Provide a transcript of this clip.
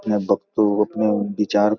अपने भक्तों के अपने विचार--